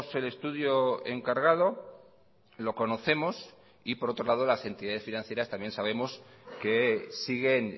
el estudio encargado lo conocemos y por otro lado las entidades financieras también sabemos que siguen